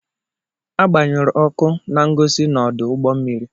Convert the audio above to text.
Agbanyụrụ ọkụ na-ngosi n'ọdụ ụgbọ mmiri.